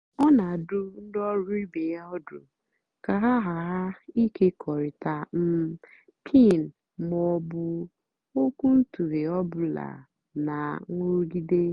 ọ́ nà-àdụ́ ndí ọ́rụ́ ìbé yá ọ́dụ́ kà hà ghàrà ị́kékọ́rịtá um pin mà ọ́ bụ́ ókwúntụ̀ghé ọ́bụ́làgìdí nà nrụ́gídé.